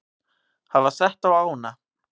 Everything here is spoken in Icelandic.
hafa sett á ána.